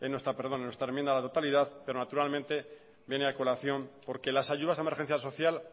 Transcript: en nuestra enmienda a la totalidad pero naturalmente viene a colación porque las ayudas a emergencia social